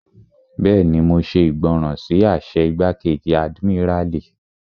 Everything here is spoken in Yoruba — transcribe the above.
Bẹ́ẹ̀ni, mo ṣe ìgbọràn sí àṣẹ igbákejì àdìmíràlí